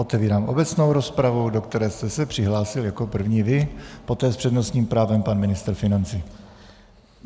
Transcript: Otevírám obecnou rozpravu, do které jste se přihlásil jako první vy, poté s přednostním právem pan ministr financí.